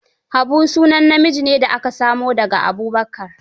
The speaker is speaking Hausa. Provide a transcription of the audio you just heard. Habu sunan namiji da aka samo da ga Abubakar.